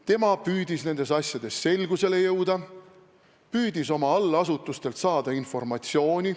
Tema püüdis nendes asjades selgusele jõuda, püüdis oma allasutustelt saada informatsiooni.